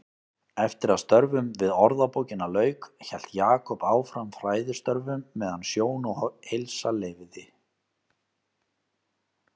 Eftir að störfum við Orðabókina lauk hélt Jakob áfram fræðistörfum meðan sjón og heilsa leyfði.